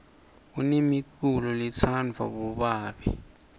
kunemiculolo letsanvwa bobabe